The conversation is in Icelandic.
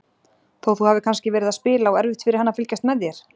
Þó þú hafir kannski verið að spila og erfitt fyrir hann að fylgjast með þér?